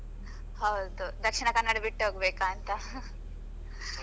ಹೌದು ದಕ್ಷಿಣ ಕನ್ನಡ ಬಿಟ್ಟೆ ಹೋಗ್ಬೇಕು ಅಂತ .